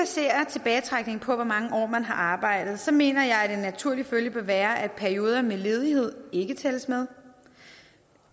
tilbagetrækning på hvor mange år man har arbejdet mener jeg at en naturlig følge bør være at perioder med ledighed ikke tælles med